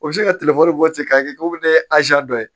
O bɛ se ka bɔ ten k'a kɛ k'o bɛ dɔ ye